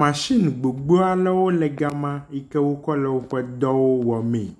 machine gbogbowo le ga ma yi wokɔ le woƒe dŋwo wɔmee